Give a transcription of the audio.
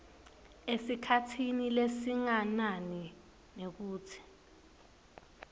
esikhatsini lesinganani nekutsi